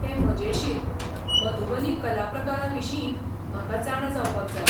तें मजेशीर, मधुबनी कलाप्रकाराविशींय म्हाका जाणा जावपाक जाय.